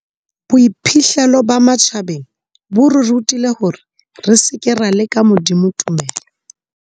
Boiphihlelo ba matjhabeng bo re rutile hore re seke ra leka Modimo tumelo.